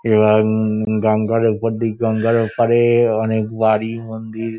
এবং-অ-অ গঙ্গার ওপরদিক গঙ্গার ওপারে অনেক বাড়ি মন্দির।